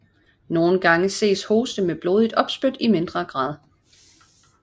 Nogle gange ses hoste med blodigt opspyt i mindre grad